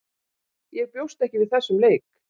Ég bjóst ekki við þessum leik.